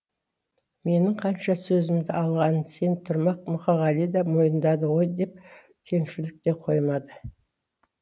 менің қанша сөзімді алғанын сен тұрмақ мұқағали да мойындады ғой деп кеңшілік те қоймады